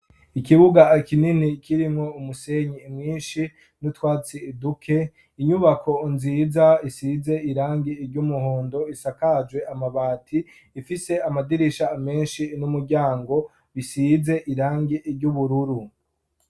Ikibuga kinini kirimwo umusenyi mwinshi, n'utwatsi duke, inyubako nziza isize irangi iry'umuhondo isakajwe amabati ifise amadirisha menshi n'umuryango ,bisize irangi iry'ubururu.